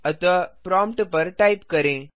अतः प्रॉम्प्ट पर टाइप करें